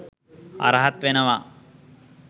අරහත් වෙනවා